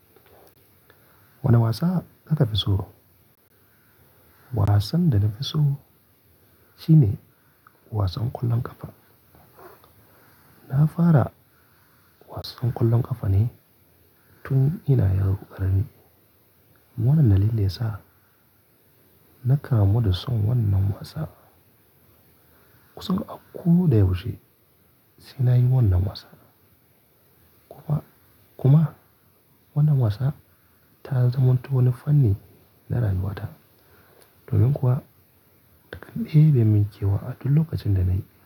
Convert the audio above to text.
Wane wasa ka tafi so? Wasan da nafi so shi ne wasan ƙwallon ƙafa. Na fara wasan ƙwallon ƙafa ne tun ina yaro ƙarami. Wannan dalili yasa na karamo da son wannan wasa. Kusan a kodayaushe sai na yi wannan wasa. Kuma, kuma wannan wasa ta zama wata wani fanni na rayuwata. Domin kuwa, dakan ɗaya bai min kewa a duk lokacin da na yi.